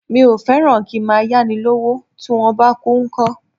Mi ò fẹ́ràn kí ń máa yá ni lọ́wọ́, tí wón bá kú ńkọ́?